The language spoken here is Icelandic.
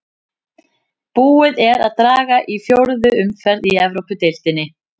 Búið er að draga í fjórðu umferð í Evrópudeildinni.